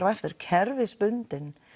og aftur kerfisbundin